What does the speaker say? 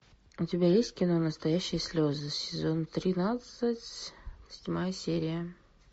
у тебя есть кино настоящие слезы сезон тринадцать седьмая серия